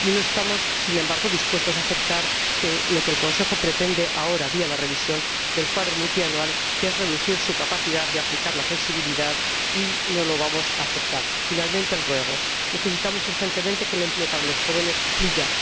no estamos, sin embargo, dispuestos a aceptar lo que el Consejo pretende ahora, vía la revisión del marco plurianual, que es reducir su capacidad de aplicar la flexibilidad. No lo vamos a aceptar. Para acabar, el ruego necesitamos urgentemente que el empleo para los jóvenes fluya.